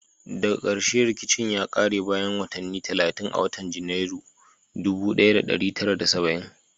Daga karshe rikicin ya kare bayan watanni talatin a watan Janairu sha tara saba'in